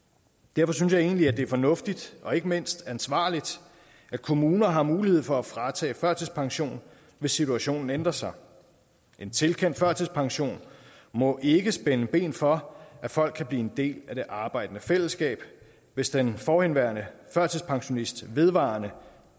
derfor synes jeg egentlig at det er fornuftigt og ikke mindst ansvarligt at kommuner har mulighed for at fratage førtidspension hvis situationen ændrer sig en tilkendt førtidspension må ikke spænde ben for at folk kan blive en del af det arbejdende fællesskab hvis den forhenværende førtidspensionist vedvarende